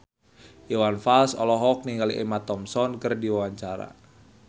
Iwan Fals olohok ningali Emma Thompson keur diwawancara